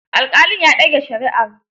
Alƙalin ya dage shari'ar.